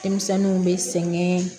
Denmisɛnninw bɛ sɛgɛn